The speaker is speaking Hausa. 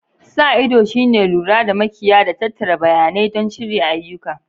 Sa ido shine lura da makiya da tattara bayanai don shirya ayyuka.